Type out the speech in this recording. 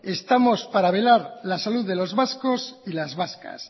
estamos para velar la salud de los vascos y las vascas